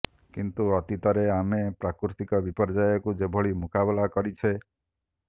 କିନ୍ତୁ ଅତୀତରେ ଆମେ ପ୍ରାକୃତିକ ବିପର୍ଯ୍ୟୟକୁ ଯେଭଳି ମୁକାବିଲା କରିଛେ